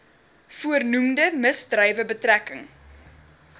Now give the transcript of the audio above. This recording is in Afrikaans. voornoemde misdrywe betrekking